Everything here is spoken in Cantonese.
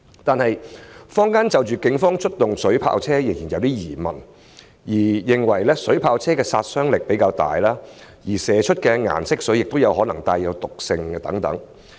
然而，坊間就警方出動水炮車仍然存有疑問，認為水炮車的殺傷力比較大，而射出的顏色水亦可能帶有毒性等。